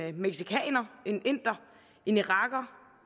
en mexicaner en inder en iraker